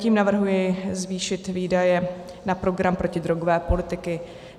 Tím navrhuji zvýšit výdaje na program protidrogové politiky.